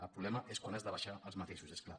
el problema és quan has de baixar als matisos és clar